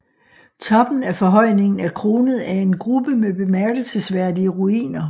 Toppen af forhøjningen er kronet af en gruppe med bemærkelsesværdige ruiner